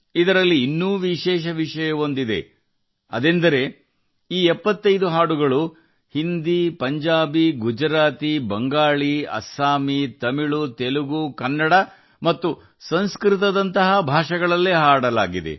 ಇದರಲ್ಲಿ ಇನ್ನೂ ವಿಶೇಷವೆಂದರೆ ಈ 75 ಹಾಡುಗಳನ್ನು ಹಿಂದಿ ಪಂಜಾಬಿ ಗುಜರಾತಿ ಬಾಂಗ್ಲಾ ಅಸ್ಸಾಮಿ ತಮಿಳು ತೆಲುಗು ಕನ್ನಡ ಮತ್ತು ಸಂಸ್ಕೃತ ಮುಂತಾದ ಭಾಷೆಗಳಲ್ಲಿ ಹಾಡಲಾಗಿದೆ